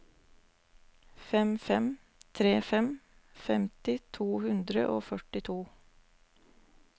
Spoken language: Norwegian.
fem fem tre fem femti to hundre og førtito